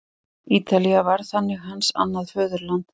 Ítalía varð þannig hans annað föðurland.